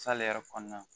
yɛrɛ kɔnɔna na